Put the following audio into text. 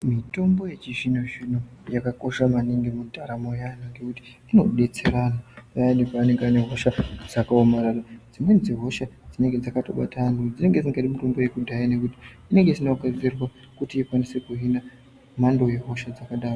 Mitombo yechizvino zvino yakakosha maningi mundaramo yeanthu ngekuti inodetsera payani paanenge ane hosha dzakaomarara. Dzimweni dzehosha zinenge dzakatobata anthu dzinenge dzisingadi mitombo yekudhaya ngekuti inenge isina kuhina mhando yehosha dzakadaro.